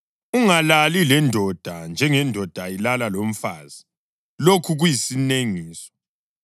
Ungalali lendoda njengendoda ilala lomfazi; lokhu kuyisinengiso.